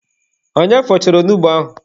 Onye fọchara onugbu ahụ?